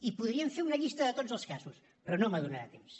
i podríem fer una llista de tots els casos però no em donarà temps